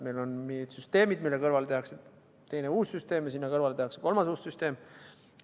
Meil on mingid süsteemid, mille kõrvale tehakse teine uus süsteem ja sinna kõrvale tehakse kolmas uus süsteem.